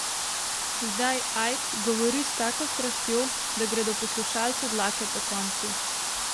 Zdaj Ajk govori s tako strastjo, da gredo poslušalcu dlake pokonci.